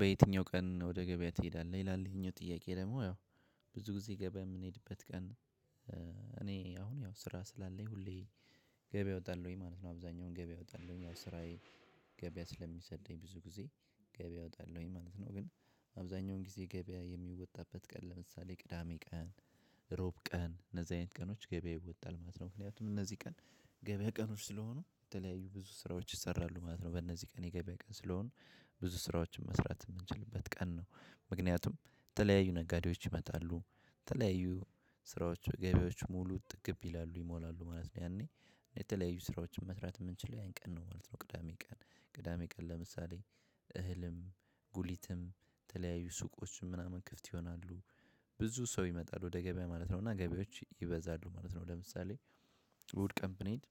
በየትኛው ቀን ወደ ገበያ ትሄዳለህ? ይላል ይሄኛው ጥያቄ ደግሞ ያው ብዙ ጊዜ ገበያ የምንሄድበት ቀን እኔ አሁን ያው ስራ ስላለኝ ሁሌ ገበያ እወጣለሁኝ ማለት ነው አብዛኛውን ገበያ እወጣለሁኝ ያው ስራዬ ገበያ ስለሚሰደኝ ብዙ ጊዜ ገበያ እወጣለሁኝ ማለት ነው። ግን አብዛኛውን ጊዜ ገበያ የሚወጣበት ቀን ለምሳሌ ቅዳሜ ቀን ሮብ ቀን እነዚህ አይነት ቀኖች ገበያ ይወጣል ማለት ነው ምክንያቱም እነዚህ ቀን ገበያ ቀኖች ስለሆኑ። የተለያዩ ብዙ ስራዎች ይሰራሉ ማለት ነው በእነዚህ ቀን የገበያ ቀን ስለሆኑ። ብዙ ስራዎችን መስራት የምንችልበት ቀን ነው ምክንያቱም ተለያዩ ነጋዴዎች ይመጣሉ። ተለያዩ ስራዎች ገቢዎች ሙሉ ጥግብ ይላሉ ይሞላሉ ማለት ነው ያኔ የተለያዩ ስራዎችን መስራት የምንችለው ያን ቀን ነው ማለት ነው ቅዳሜ ቀን ቅዳሜ ቀን ለምሳሌ እህልም ጉሊትም የተለያዩ ሱቆችም ምናምን ክፍት ይሆናሉ። ብዙ ሰው ይመጣሉ ወደ ገበያ ማለት ነው እና ገበያዎች ይበዛሉ ማለት ነው ለምሳሌ እሁድ ቀን ብንሄድ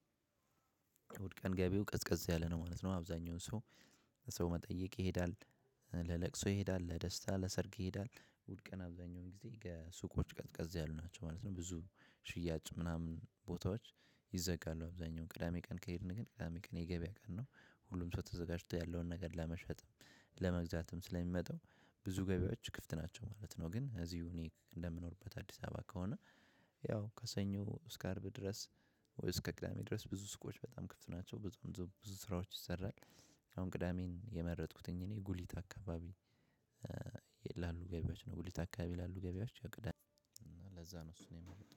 እሂድ ቀን ገቢው ቀዝቀዝ ያለ ነው ማለት ነው አብዛኛውን ሰው ለሰው መጠየቅ ይሄዳል። ለለቅሶ ይሄዳል ለደስታ ለሰርግ ይሄዳል። ውድ ቀን አብዛኛውን ጊዜ ገሱቆች ቀጥቀጥ ያሉ ናቸው ማለት ነው ብዙ ሽያጭ ምናምን ቦታዎች ይዘጋሉ አብዛኛውን ቅዳሜ ቀን ከሄድን ግን ቅዳሜ ቀን የገበያ ቀን ነው። ሁሉም ሰው ተዘጋጅቶ ያለውን ነገር ለመሸጥ ለመግዛትም ስለምመጡ ብዙ ገቢያዎች ክፍት ናቸው ማለት ነው። ግን ኢዚህ እኔ ከምኖርበት አድስ አበባ ከሆነ ያው ከሰኞ እስከ አርብ ድረስ ወይ እስከ ቅዳሜ ድረስ ብዙ ሱቆች ክፍት ናቸው ብዙ ስራዎች ይሰራል። አሁን ቅዳሜን የመረጥኩትኝ እኔ ጉሊት አካባቢ የላሉ ገቢዎች ነው ጉሊት አካባቢ የላሉ ገቢዎች ያቅዳል እና ለዛ ነው እሱን የመረጥኩ።